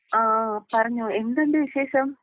ആഹ് പറഞ്ഞോ എന്തുണ്ട് വിശേഷം?